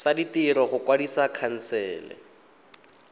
tsa ditiro go kwadisa khansele